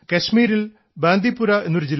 കാശ്മീരിൽ ബാന്ദീപുര എന്ന ഒരു ജില്ലയുണ്ട്